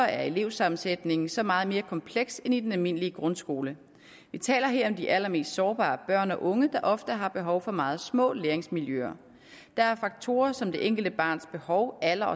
er elevsammensætningen så meget mere kompleks end i den almindelige grundskole vi taler her om de allermest sårbare børn og unge der ofte har behov for meget små læringsmiljøer der er faktorer som det enkelte barns behov alder